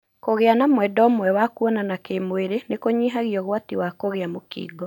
Kũgia na mwendwa ũmwe wa kũonana kĩmwĩrĩ nĩkũnyihagia ũgwati wa kũgĩa mũkingo.